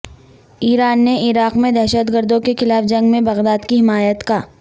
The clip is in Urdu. ایران نے عراق میں دہشت گردوں کے خلاف جنگ میں بغداد کی حمایت کا